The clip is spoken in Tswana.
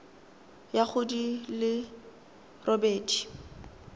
ya go di le robedi